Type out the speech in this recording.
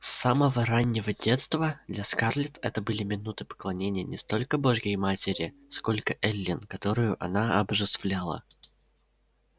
с самого раннего детства для скарлетт это были минуты поклонения не столько божьей матери сколько эллин которую она обожествляла